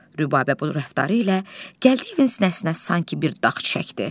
Rübəbə bu rəftarı ilə Gəldiyevin sinəsinə sanki bir dağ çəkdi.